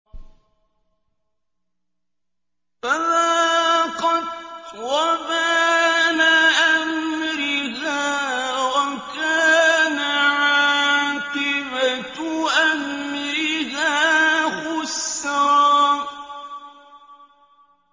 فَذَاقَتْ وَبَالَ أَمْرِهَا وَكَانَ عَاقِبَةُ أَمْرِهَا خُسْرًا